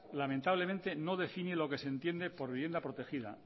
lamentablemente no define lo que se entiende por vivienda protegida